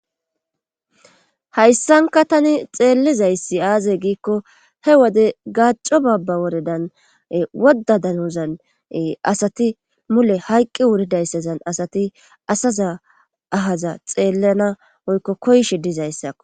Hayssanka tani xeellizayssi aaze giikko he wode gaacco baabba woredan wodda danuzan asati mule hayqqi wuridayssazan asati asaza ahaza xeellana oykko koyshe dizayssakko.